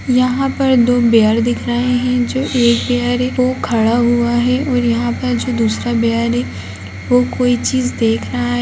यहाँ पर दो बेयर दिख रहे है जो एक बेयर है वो खड़ा हुआ है और यहाँ पर जो दूसरा बेयर है वो कोई चीज़ देख रहा है।